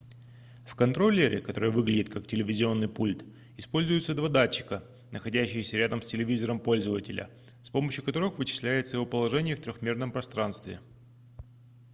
в контроллере который выглядит как телевизионный пульт используются два датчика находящиеся рядом с телевизором пользователя с помощью которых вычисляется его положение в трёхмерном пространстве